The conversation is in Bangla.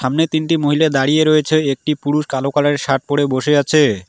সামনে তিনটি মহিলা দাঁড়িয়ে রয়েছে একটি পুরুষ কালো কালারের শার্ট পরে বসে আছে।